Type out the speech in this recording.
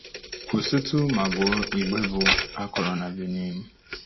Kwụsịtụ ma gụọ igbe bụ́ “A Kọrọ na Benin .”